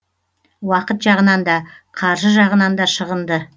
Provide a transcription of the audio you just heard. уақыт жағынан да қаржы жағынан да шығынды